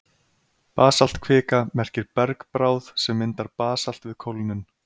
Basaltkvika merkir bergbráð sem myndar basalt við kólnun.